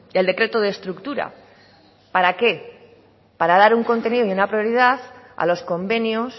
el decreto de estructura para qué para dar un contenido y una prioridad a los convenios